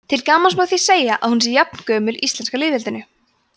til gamans má því segja að hún sé jafngömul íslenska lýðveldinu